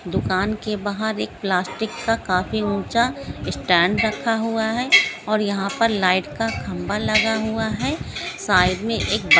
दुकान के बहार एक प्लास्टिक का काफी ऊंचा स्टैन्ड रखा हुआहै ओर यहा पे लाइट का खंभा लगा हुआ है। साइड मे एक बा--